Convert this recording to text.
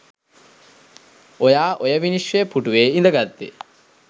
ඔයා ඔය විනිශ්චය පුටුවේ ඉඳගත්තේ